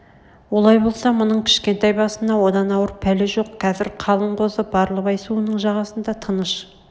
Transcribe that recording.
олай болса мұның кішкентай басына одан ауыр пәле жоқ қазір қалың қозы барлыбай суының жағасында тыныш